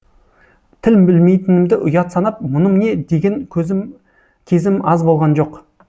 тіл білмейтінімді ұят санап мұным не деген кезім аз болған жоқ